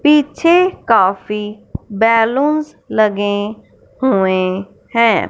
पीछे काफी बैलून्स लगे हुए हैं।